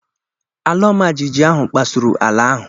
ala ọma jijiji ahụ kpasuru ala ahụ.